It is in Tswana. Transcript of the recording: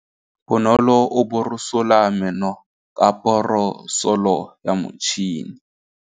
Bonolô o borosola meno ka borosolo ya motšhine.